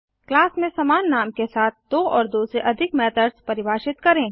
class में समान नाम के साथ दो और दो से अधिक मेथड्स परिभाषित करें